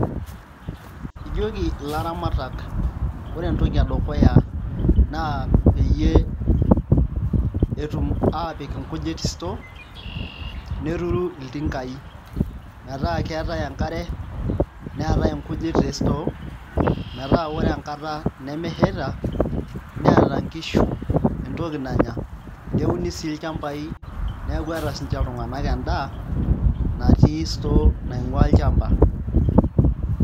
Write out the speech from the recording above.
Ijoki ilaramatak ore entoki edukuya naa peyie etum aapik nkujit store neturu iltingaai metaa keetai enkare neetae nkujit te store metaa ore enkata nemeshaita neeta nkishu entoki nanya neuni sii olchamba neeku eeta siinche iltunganak endaa natii store naing'uaa olchamba.